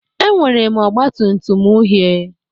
Enwere m ọgba tum tum uhie